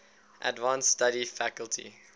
advanced study faculty